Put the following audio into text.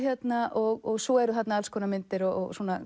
og svo eru þarna alls konar myndir og